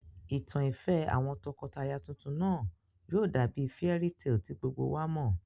Ìtàn ìfẹ́ àwọn tọkọtaya tuntun náà yóò dàbí fairy tale tí gbogbo wa mọ̀